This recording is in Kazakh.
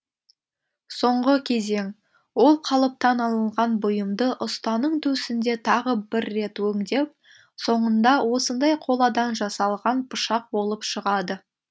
соңғы кезең ол қалыптан алынған бұйымды ұстаның төсінде тағы бір рет өңдеп соңында осындай қоладан жасалған пышақ болып шығады